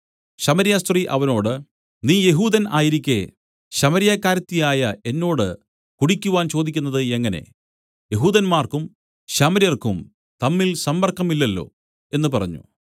ശമര്യസ്ത്രീ അവനോട് നീ യെഹൂദൻ ആയിരിക്കെ ശമര്യക്കാരത്തിയായ എന്നോട് കുടിക്കുവാൻ ചോദിക്കുന്നത് എങ്ങനെ യെഹൂദന്മാർക്കും ശമര്യർക്കും തമ്മിൽ സമ്പർക്കമില്ലല്ലോ എന്നു പറഞ്ഞു